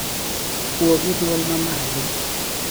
Wuo gi dwol mamalo.